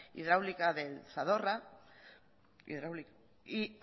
hidráulica del zadorra y